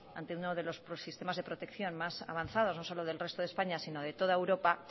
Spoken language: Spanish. ante uno de los prosistemas de protección más avanzados no solo del resto de españa sino de toda europa